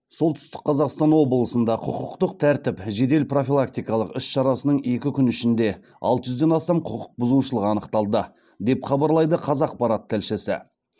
солтүстік қазақстан облысында құқықтық тәртіп жедел профилактикалық іс шарасының екі күні ішінде алты жүзден астам құқықбұзушылық анықталды деп хабарлайды қазақпарат тілшісі